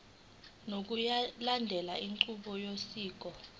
ngokulandela inqubo yosiko